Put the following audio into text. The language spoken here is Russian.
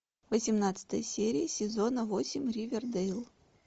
восемнадцатая серия сезона восемь ривердейл